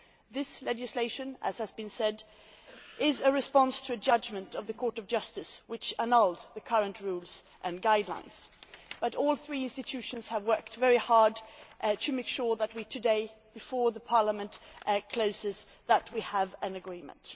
This legislation, as has been said, is a response to a judgment by the Court of Justice which annulled the current rules and guidelines, but all three institutions have worked very hard to make sure that today, before Parliament closes, we have an agreement.